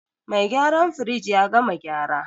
Mai gyaran firij ya gama gyara.